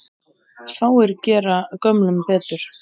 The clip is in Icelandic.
Fáir gera gömlum betur.